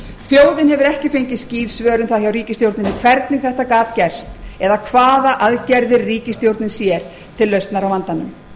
gerst hefur þjóðin hefur ekki fengið skýr svör um það hjá ríkisstjórninni hvernig þetta gat gerst eða hvaða aðgerðir ríkisstjórnin sér til lausnar á vandanum